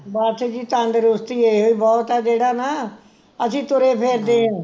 ਬਸ ਜੀ ਤੰਦਰੁਸਤੀ ਇਹੋ ਹੀ ਬਹੁਤ ਆ ਜਿਹੜਾ ਨਾ ਅਸੀਂ ਤੁਰੇ ਫਿਰਦੇ ਐ